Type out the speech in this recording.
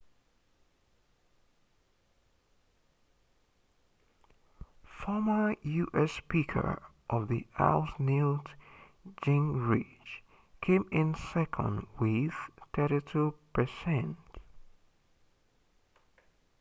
former u.s. speaker of the house newt gingrich came in second with 32%